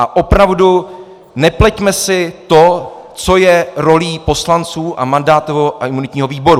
A opravdu nepleťme si to, co je rolí poslanců a mandátového a imunitního výboru.